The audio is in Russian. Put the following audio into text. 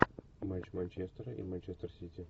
матч манчестера и манчестер сити